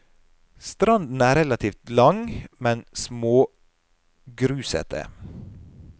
Stranden er relativt lang, men smågrusete.